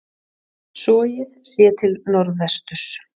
Sogið, séð til norðvesturs.